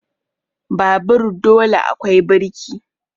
Babur dole akwai birki